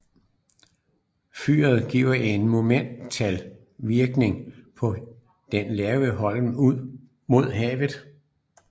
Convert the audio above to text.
Fyret giver en monumental virkning på den lave holm ud mod havet